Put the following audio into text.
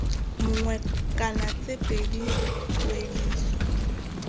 mongwe kana tse pedi tuediso